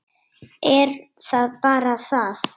Er það bara það?